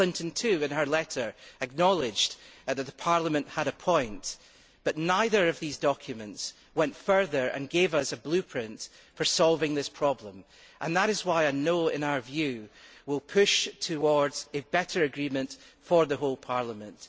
Mrs Clinton, too, in her letter acknowledged that Parliament had a point, but neither of these documents went further and gave us a blueprint for solving this problem, and that is why a no' will, in our view, push towards a better agreement for the whole Parliament.